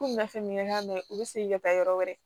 Ko n bɛna fɛn min kɛ k'a mɛ u bɛ segin ka taa yɔrɔ wɛrɛ